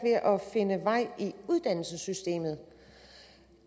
finde vej i uddannelsessystemet